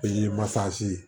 Pe masa ye